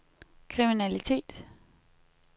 kriminalitet